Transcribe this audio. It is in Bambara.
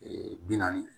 Ee bi naani